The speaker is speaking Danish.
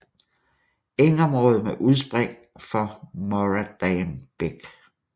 Engområde med udspring for Muradam bæk